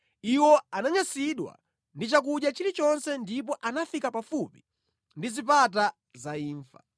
Iwo ananyansidwa ndi chakudya chilichonse ndipo anafika pafupi ndi zipata za imfa.